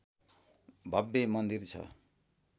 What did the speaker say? भव्य मन्दिर छ